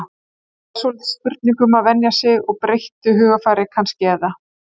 Þetta er svolítið spurning um að venja sig og breyttu hugarfari kannski eða?